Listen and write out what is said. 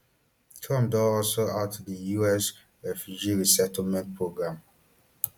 trump don also halt di us refugee resettlement programme